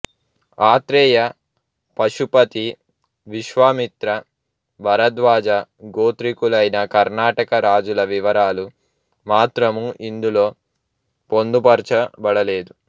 ఆత్రేయ పశుపతి విశ్వామిత్ర భరద్వాజ గోత్రీకులైన కర్ణాటక రాజుల వివరాలు మాత్రము ఇందులో పొందుపరచబడలేదు